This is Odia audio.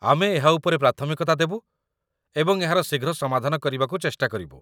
ଆମେ ଏହା ଉପରେ ପ୍ରାଥମିକତା ଦେବୁ ଏବଂ ଏହାର ଶୀଘ୍ର ସମାଧାନ କରିବାକୁ ଚେଷ୍ଟା କରିବୁ